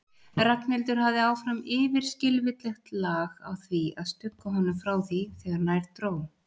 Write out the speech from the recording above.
Ragnhildur hafði áfram yfirskilvitlegt lag á því að stugga honum frá þegar nær dró.